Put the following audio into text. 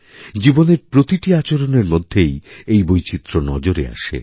জীবনের প্রতিটিআচরণের মধ্যেই এই বৈচিত্র্য নজরে আসে